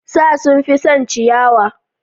Sa sun fi son ciyayi